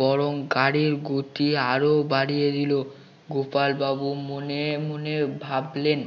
বরং গাড়ির গতি আরো বাড়িয়ে দিল গোপাল বাবু মনে মনে ভাবলেন